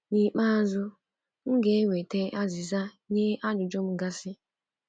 N'ikpeazụ, m na enwetazi azịza nye ajụjụ m gasi.